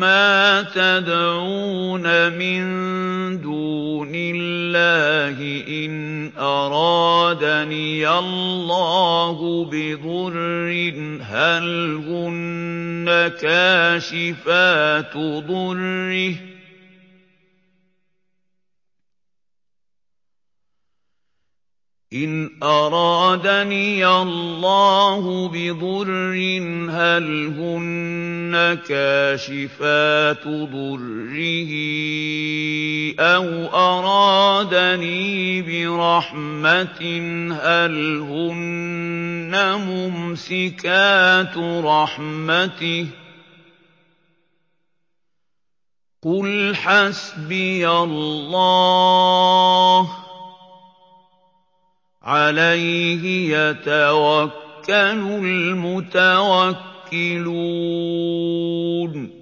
مَّا تَدْعُونَ مِن دُونِ اللَّهِ إِنْ أَرَادَنِيَ اللَّهُ بِضُرٍّ هَلْ هُنَّ كَاشِفَاتُ ضُرِّهِ أَوْ أَرَادَنِي بِرَحْمَةٍ هَلْ هُنَّ مُمْسِكَاتُ رَحْمَتِهِ ۚ قُلْ حَسْبِيَ اللَّهُ ۖ عَلَيْهِ يَتَوَكَّلُ الْمُتَوَكِّلُونَ